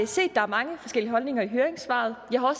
set at der er mange forskellige holdninger i høringssvarene jeg har